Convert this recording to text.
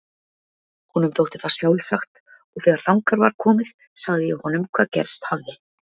Honum þótti það sjálfsagt og þegar þangað var komið sagði ég honum hvað gerst hafði.